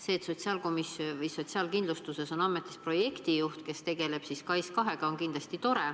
See, et Sotsiaalkindlustusametis on tööl projektijuht, kes tegeleb SKAIS2-ga, on kindlasti tore.